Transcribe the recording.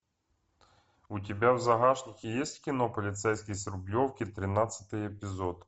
у тебя в загашнике есть кино полицейский с рублевки тринадцатый эпизод